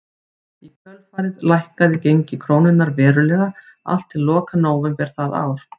Í kjölfarið lækkaði gengi krónunnar verulega allt til loka nóvember það ár.